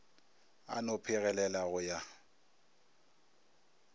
a no phegelela go ya